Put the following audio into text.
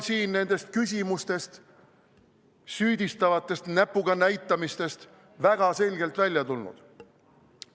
See on nendest küsimustest, süüdistavatest näpuga näitamistest väga selgelt välja tulnud.